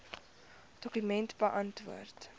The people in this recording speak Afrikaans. dokument beantwoord